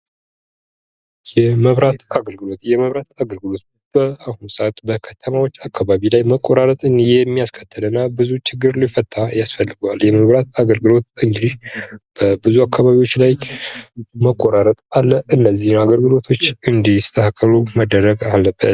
የመብራት አገልግሎት በአሁኑ ሰዓት በከተሞች አካባቢ መቆራረጥ የሚያስከትልና ብዙ ችግር ሊፈታ ያስፈልገዋል! የመብራት አገልግሎት እንግዲህ ብዙ አካባቢዎች ላይ የመቆራረጥ አለ አገልግሎቶች እንዲስተካከ፤ ሉ መደረግ አለበት።